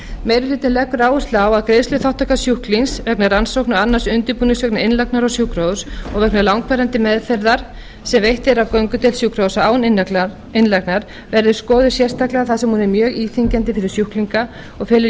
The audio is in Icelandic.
meiri hlutinn leggur áherslu á að greiðsluþátttaka sjúklings vegna rannsókna og annars undirbúnings vegna innlagnar á sjúkrahús og vegna langvarandi meðferðar sem veitt er á göngudeild sjúkrahúsa án innlagnar verði skoðuð sérstaklega þar sem hún er mjög íþyngjandi fyrir sjúklinga og felur